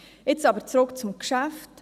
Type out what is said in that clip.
Jetzt aber zurück zum Geschäft.